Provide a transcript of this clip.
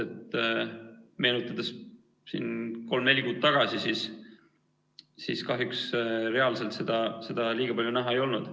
Kui meenutada siin aega kolm-neli kuud tagasi, siis seda kahjuks reaalselt liiga palju näha ei olnud.